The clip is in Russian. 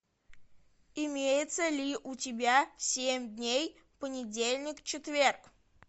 имеется ли у тебя семь дней понедельник четверг